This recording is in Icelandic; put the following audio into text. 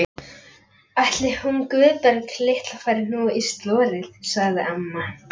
Ætli hún Guðbjörg litla fari nú í slorið. sagði amma.